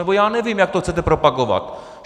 Nebo já nevím, jak to chcete propagovat.